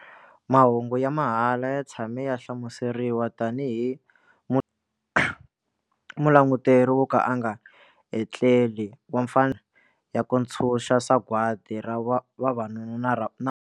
Mahungu ya mahala ya tshame ya hlamuseriwa tanihi 'mulanguteri wo ka a nga etleli wa mfanelo ya ku ntshuxa sagwadi ra vavanuna.